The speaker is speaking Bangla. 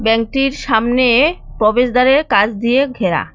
সামনে প্রবেশদ্বারের কাচ দিয়ে ঘেরা।